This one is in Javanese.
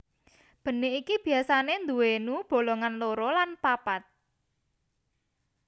Benik iki biasane duwénu bolongan loro lan papat